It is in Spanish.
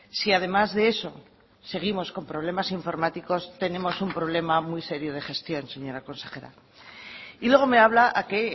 si además de eso seguimos con problemas informáticos tenemos un problema muy serio de gestión señora consejera y luego me habla a que